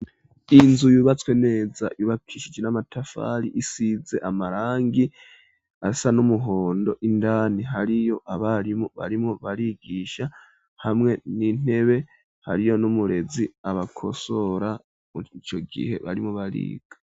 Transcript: Inzu yubatswe neza ibakishigi n'amatafali isize amarangi asa n'umuhondo indani hariyo abarimo barimo barigisha hamwe n'intebe hariyo n'umurezi abakosora muricyo gihe barimo bariga.